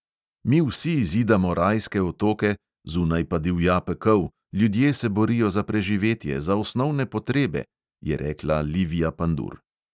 "Mi vsi zidamo rajske otoke, zunaj pa divja pekel, ljudje se borijo za preživetje, za osnovne potrebe," je rekla livija pandur.